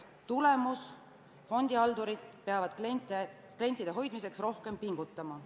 Tulemus – fondihaldurid peavad klientide hoidmise nimel rohkem pingutama.